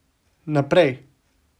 Naprej.